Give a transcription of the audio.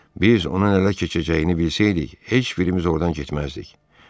Biz onun ələ keçəcəyini bilsəydik, heç birimiz oradan getməzdik.